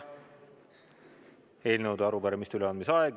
On eelnõude ja arupärimiste üleandmise aeg.